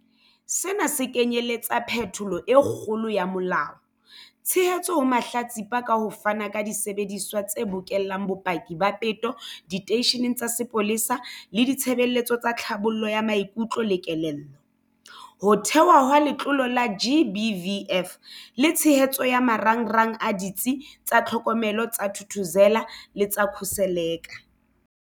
Sena se kenyeletsa phetholo e kgolo ya molao, tshehetso ho mahlatsipa ka ho fana ka disebediswa tse bokellang bopaki ba peto diteisheneng tsa sepolesa le ditshebeletso tsa tlhabollo ya maikutlo le kelello, ho thehwa ha Letlole la GBVF le tshehetso ya marangrang a Ditsi tsa Tlhokomelo tsa Thuthuzela le tsa Khuseleka.